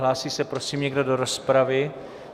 Hlásí se prosím někdo do rozpravy?